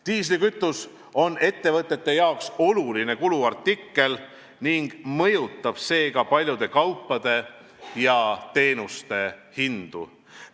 Diislikütus on ettevõtete jaoks oluline kuluartikkel ning mõjutab seega paljude kaupade ja teenuste hindu.